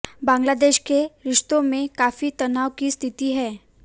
बांग्लादेश के रिश्तों में काफी तनाव की स्थिति है